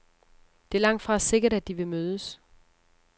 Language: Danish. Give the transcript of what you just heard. Det er langtfra sikkert, at de vil mødes.